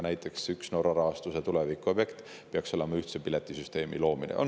Näiteks peaks tulevikus üks Norra rahastuse objekte olema ühtse piletisüsteemi loomine.